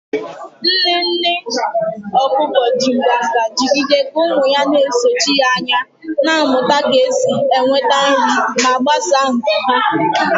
Nne nne okuko ji nganga jigide ka ụmụ ya na-esochi ya anya, na-amụta ka esi enweta nri ma gbasaa nku ha.